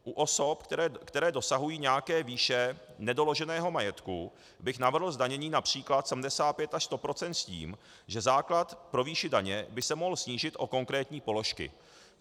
U osob, které dosahují nějaké výše nedoloženého majetku, bych navrhl zdanění například 75 až 100 % s tím, že základ pro výši daně by se mohl snížit o konkrétní položky.